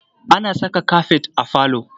Ana saka kafet a falo.